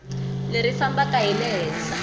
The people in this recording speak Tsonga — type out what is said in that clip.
leri fambaka hi le henhla